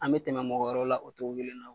An be tɛmɛ mɔgɔ wɛrɛw la o togo kelen na